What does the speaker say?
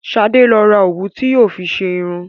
Sadé lọ ra òwú tí yóò fi ṣe irun